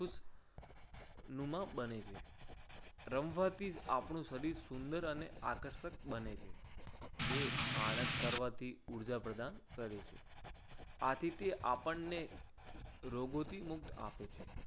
નુમા બને છે. રમવાથી આપણું શરીર સુંદર અને આકર્ષક બને છે. તે આળસ કરવાથી ઉર્જા પ્રદાન કરે છે. આથી તે આપણને રોગોથી મુક્ત આપે છે.